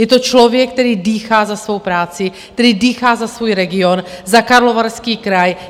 Je to člověk, který dýchá za svou práci, který dýchá za svůj region, za Karlovarský kraj.